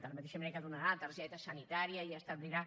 de la mateixa manera que donarà la targeta sanitària i establirà